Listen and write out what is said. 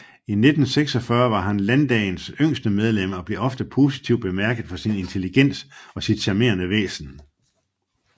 I 1946 var han Landdagens yngste medlem og blev ofte positivt bemærket for sin intelligens og sit charmerende væsen